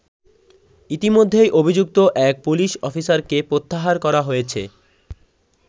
ইতিমধ্যেই অভিযুক্ত এক পুলিশ অফিসারকে প্রত্যাহার করা হয়েছে।